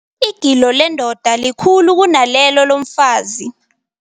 Igilo lendoda likhulu kunalelo lomfazi.